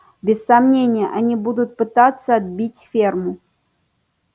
без сомнения они будут пытаться отбить ферму